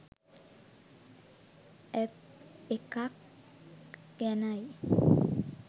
app එකක් ගැනයි